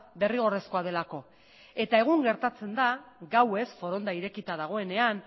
derrigorrezkoa delako eta egun gertatzen da gauez foronda irekita dagoenean